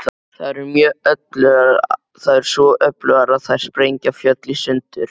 Þær eru svo öflugar að þær sprengja fjöll í sundur.